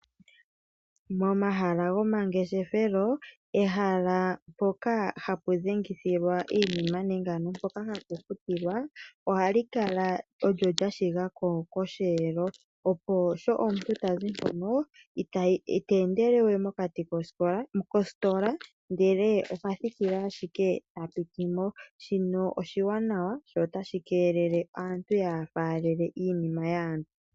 Momahala gomangeshefelo ehala mpoka hapu dhengithilwa iinima nenge poka hapufutilwa, ohalikala olyo lyashinga koshelo opo sho omuntu tazimo itendelewe mokati kostola ndele ohathikile ashike tapitimo shino oshiwanawa sho otashi kelele aantu yafalele iinima yaantu.